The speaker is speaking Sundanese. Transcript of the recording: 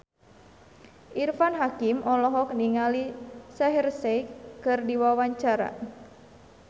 Irfan Hakim olohok ningali Shaheer Sheikh keur diwawancara